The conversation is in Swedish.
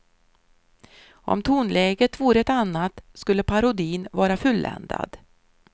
Om tonläget vore ett annat skulle parodin vara fulländad.